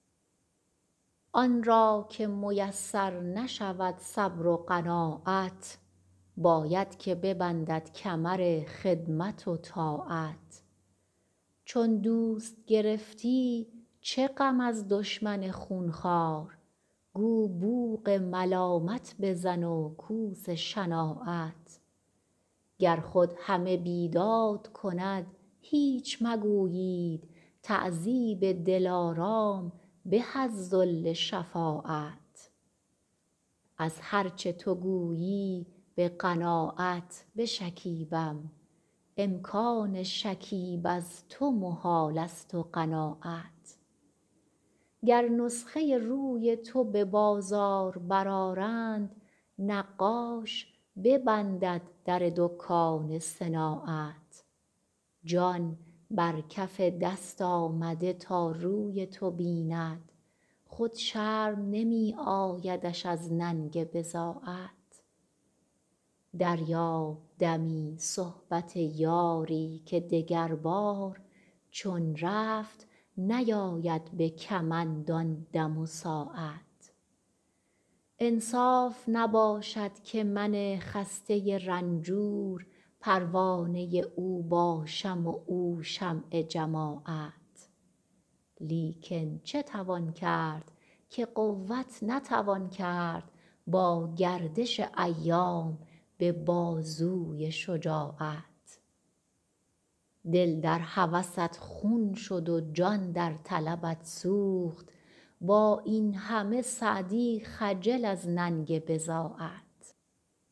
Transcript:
آن را که میسر نشود صبر و قناعت باید که ببندد کمر خدمت و طاعت چون دوست گرفتی چه غم از دشمن خونخوار گو بوق ملامت بزن و کوس شناعت گر خود همه بیداد کند هیچ مگویید تعذیب دلارام به از ذل شفاعت از هر چه تو گویی به قناعت بشکیبم امکان شکیب از تو محالست و قناعت گر نسخه روی تو به بازار برآرند نقاش ببندد در دکان صناعت جان بر کف دست آمده تا روی تو بیند خود شرم نمی آیدش از ننگ بضاعت دریاب دمی صحبت یاری که دگربار چون رفت نیاید به کمند آن دم و ساعت انصاف نباشد که من خسته رنجور پروانه او باشم و او شمع جماعت لیکن چه توان کرد که قوت نتوان کرد با گردش ایام به بازوی شجاعت دل در هوست خون شد و جان در طلبت سوخت با این همه سعدی خجل از ننگ بضاعت